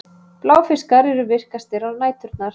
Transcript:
Bláfiskar eru virkastir á næturnar.